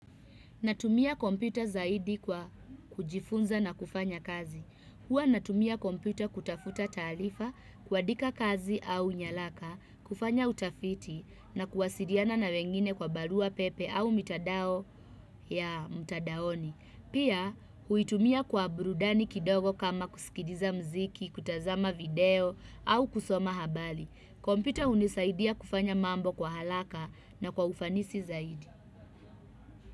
Natumia kompyuta zaidi kwa kujifunza na kufanya kazi. Huwa natumia kompyuta kutafuta taalifa, kuandika kazi au nyalaka, kufanya utafiti na kuwasiriana na wengine kwa barua pepe au mitandao ya mtandaoni. Pia, huitumia kwa burudani kidogo kama kusikiriza mziki, kutazama video au kusoma habali. Kompyuta hunisaidia kufanya mambo kwa halaka na kwa ufanisi zaidi.